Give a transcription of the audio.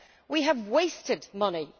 We have wasted money